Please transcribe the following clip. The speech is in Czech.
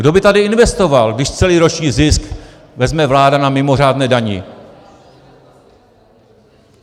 Kdo by tady investoval, když celý roční zisk vezme vláda na mimořádné dani?